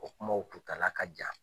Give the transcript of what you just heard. O kumaw kutala ka jan.